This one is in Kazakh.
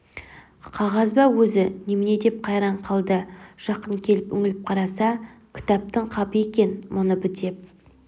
қағаз ба өзі немене деп қайран қалды жақын келіп үңіліп қараса кітаптың қабы е-е мұны бітеп